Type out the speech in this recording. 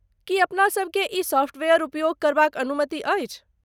की अपनासभ केँ ई सॉफ्टवेयर उपयोग करबाक अनुमति अछि?